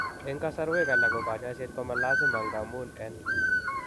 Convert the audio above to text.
En kasarwek alak ko kanyaiset ko ma lazim ngamun en